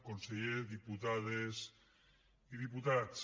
conseller diputades i diputats